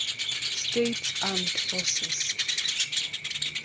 states armed forces